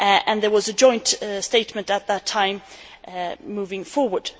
There was a joint statement at that time moving forward.